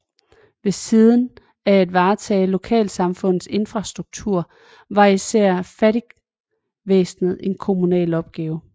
Ved siden af at varetage lokalsamfundets infrastruktur var især fattigvæsenet en kommunal opgave